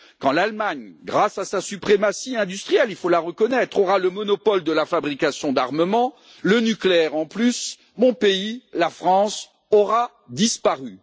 Quand l'Allemagne, grâce à sa suprématie industrielle il faut la reconnaître aura le monopole de la fabrication d'armements, le nucléaire en plus, mon pays, la France, aura disparu.